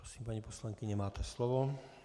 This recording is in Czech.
Prosím, paní poslankyně, máte slovo.